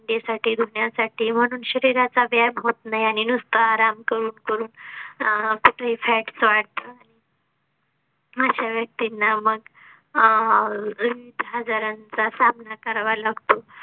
भांड्यासाठी धुण्यासाठी म्हणून शरीराचा व्यायाम होत नाही आणि नुसता आराम करून करून अह fats वाढत अशा व्यक्तींना मग अह हजारांचा सामना करावा लागतो